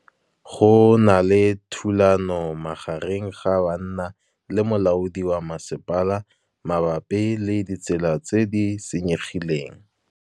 Go na le thulanô magareng ga banna le molaodi wa masepala mabapi le ditsela tse di senyegileng.